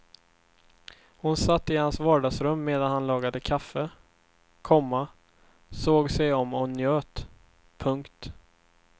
Hon satt i hans vardagsrum medan han lagade kaffe, komma såg sig om och njöt. punkt